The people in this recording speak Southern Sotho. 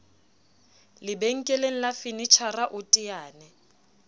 lebenkeleng la fenetjhara o teane